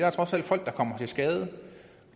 er trods alt folk der kommer til skade